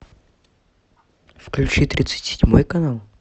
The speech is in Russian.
включи тридцать седьмой канал